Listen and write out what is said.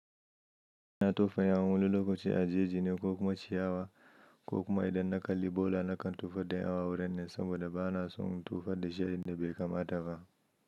Ina tofa yawun wani lokaci a jeji ne ko kuma ciyawa ko kuma idan na kalli bola nakan tofa da yawu wurin nan saboda ba na son in tofar da shi a in da bai kamata ba.